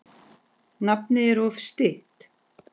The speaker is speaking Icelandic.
Nafnið er oft stytt.